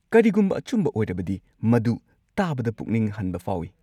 ꯀꯔꯤꯒꯨꯝꯕ ꯑꯆꯨꯝꯕ ꯑꯣꯏꯔꯕꯗꯤ, ꯃꯗꯨ ꯇꯥꯕꯗ ꯄꯨꯛꯅꯤꯡ ꯍꯟꯕ ꯐꯥꯎꯏ꯫